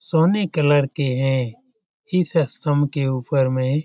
सोने कलर के हैं इस स्तंभ के ऊपर में --